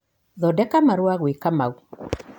thondeka marũa gwĩ Kamau